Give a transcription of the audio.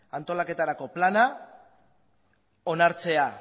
antolaketarako plana onartzea